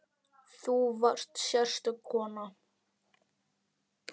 Þú varst sérstök kona.